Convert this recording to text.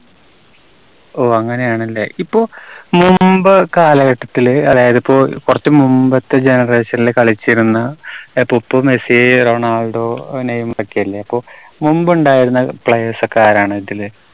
ഓ അങ്ങനെയാണല്ലേ. ഇപ്പോ മുൻപ് കാലഘട്ടത്തില് അതായത് ഇപ്പോ കുറച്ചു മുൻപത്തെ generation ല് കളിച്ചിരുന്ന ഇപ്പോ മെസ്സി, റൊണാൾഡോ, അഹ് നെയ്‌മറ് ഒക്കെ അല്ലേ? അപ്പോ മുൻപ് ഉണ്ടായിരുന്ന players ഒക്കെ ആരാണ് ഇതില്?